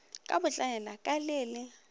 ka botlaela ka le le